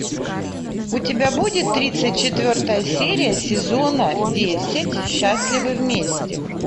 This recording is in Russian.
у тебя будет тридцать четвертая серия сезона десять счастливы вместе